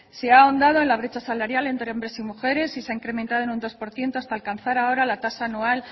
se ha ahondado en la brecha salarial entre hombres y mujeres y se ha incrementado en un dos por ciento hasta alcanzar ahora la tasa anual